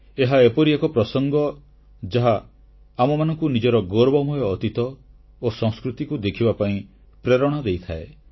ଏହା ଏପରି ଏକ ପ୍ରସଙ୍ଗ ଯାହା ଆମମାନଙ୍କୁ ନିଜର ଗୌରବମୟ ଅତୀତ ଓ ସଂସ୍କୃତିକୁ ଦେଖିବା ପାଇଁ ପ୍ରେରଣା ଦେଇଥାଏ